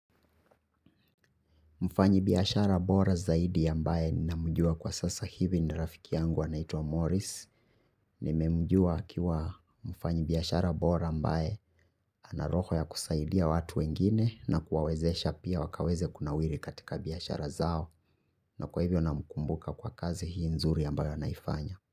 Mfanya biashara bora zaidi ambae ninamujua kwa sasa hivi nirafiki yangu anaito wa Morris. Nimemjua akiwa mfanya biyashara bora ambae anaroho ya kusaidia watu wengine na kuwawezesha pia wakaweze kuna wiri katika biashara zao. Na kwa hivyo na mkumbuka kwa kazi hii nzuri ambayo naifanya.